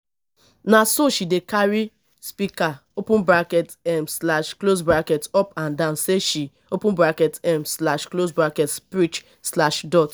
na so she dey carry speaker open bracket um slash close bracket up and down sey she open bracket um slash close bracket preach slash dot